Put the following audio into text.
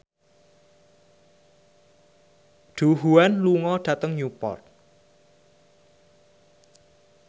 Du Juan lunga dhateng Newport